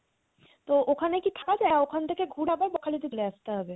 তো ওখানে কি থাকা যায় না ওখান থেকে ঘুরে আবার বকখালিতে ফিরে আসতে হবে